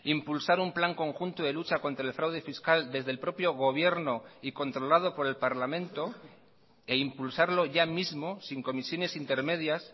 impulsar un plan conjunto de lucha contra el fraude fiscal desde el propio gobierno y controlado por el parlamento e impulsarlo ya mismo sin comisiones intermedias